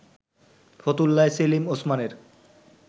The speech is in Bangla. ফতুল্লায় সেলিম ওসমানের